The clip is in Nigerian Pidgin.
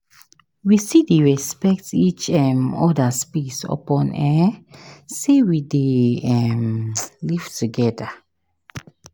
We still dey respect each um oda space upon um sey we dey um live togeda.